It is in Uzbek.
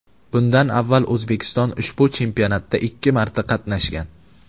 Bundan avval O‘zbekiston ushbu chempionatda ikki marta qatnashgan.